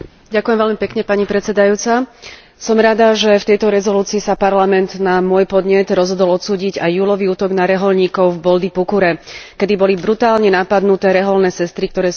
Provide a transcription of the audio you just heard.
Som rada, že v tejto rezolúcii sa Parlament na môj podnet rozhodol odsúdiť aj júlový útok na rehoľníkov v Boldipukure, keď boli brutálne napadnuté rehoľné sestry, ktoré sú ináč v Bangladéši vysoko rešpektované.